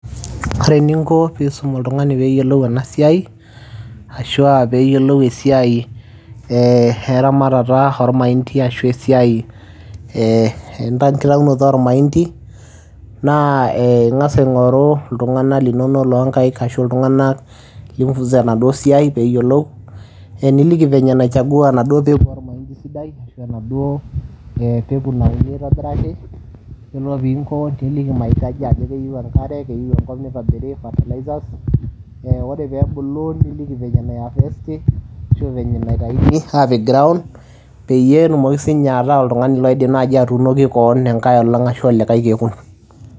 Ore eninko piisum oltung'ani peeyiolou enasiai ashuaa peeyiolou esiai ee eramatata olmaindi ashu esiai ee enkitaunoto olmaindi naa ee ing'as aing'oru iltung'ana linono loonkaik ashu iltung'anak lifunza enaduo siai peeyiolou ee niliki venye naichagua naduo peku olmaindi sidai ashu enaduo peku naa ninye eitobiraki peno piinko niliki maitaji ajo keyiu enkare keyiu enkop neitobiri fertilizers eeh ore peebulu niliki venye naihavesti ashu venye naitaini apik ground peyie etumoki siinye ataa oltung'ani loidim naji atuunoki koon enkaeolong ashu olikai kekun.